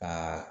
Aa